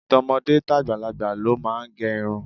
To̩mo̩dé tàgbàlagbà ló máa ń ge̩ irun.